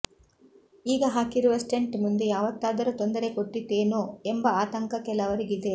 ಈಗ ಹಾಕಿರುವ ಸ್ಟೆಂಟ್ ಮುಂದೆ ಯಾವತ್ತಾದರೂ ತೊಂದರೆ ಕೊಟ್ಟೀತೇನೋ ಎಂಬ ಆತಂಕ ಕೆಲವರಿಗಿದೆ